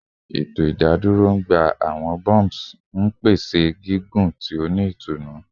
Eto idadoro n gba awọn bumps, pese gigun ti o ni itunu